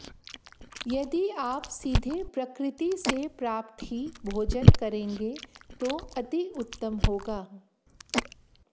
यदि आप सीधे प्रकृति से प्राप्त ही भोजन करेंगे तो अति उत्तम होगा